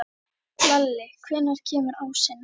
Lalli, hvenær kemur ásinn?